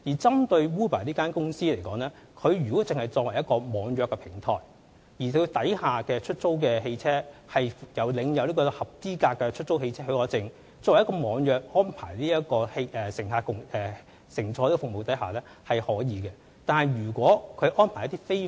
針對 Uber 公司來說，如果它作為一個網約平台，而轄下的出租汽車皆領有有效的出租汽車許可證，透過網約安排為乘客提供交通服務是可以的。